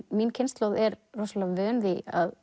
mín kynslóð er rosalega vön því að